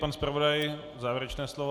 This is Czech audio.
Pan zpravodaj, závěrečné slovo.